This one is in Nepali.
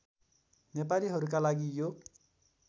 नेपालीहरूका लागि यो